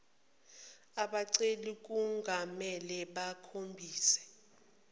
abaceli kungamele bakhombise